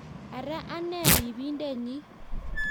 Ara ane ribindenyi